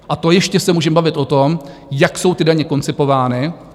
A to ještě se můžeme bavit o tom, jak jsou ty daně koncipovány.